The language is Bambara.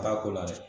Ba ko la dɛ